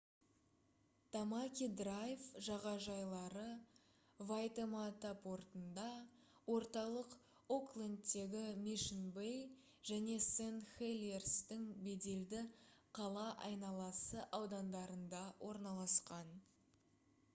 тамаки драйв жағажайлары вайтемата портында орталық оклендтегі мишн бэй және сент хелиерстің беделді қала айналасы аудандарында орналасқан